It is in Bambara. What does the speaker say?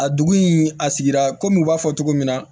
A dugu in a sigira kɔmi u b'a fɔ cogo min na